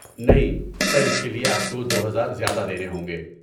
نہیں، سر اس کے لیے آپ کو دو ہزار زیادہ دینے ہوں گے